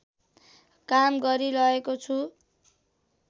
काम गरिरहेको छु